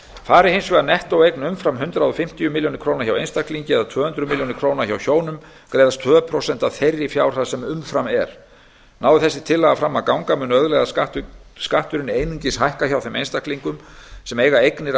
fari hins vegar nettóeign umfram hundrað fimmtíu milljónir króna hjá einstaklingi og tvö hundruð milljóna króna hjá hjónum greiðast tvö prósent af þeirri fjárhæð sem umfram er nái þessi tillaga fram að ganga mun auðlegðarskatturinn einungis hækka hjá þeim einstaklingum sem eiga eignir að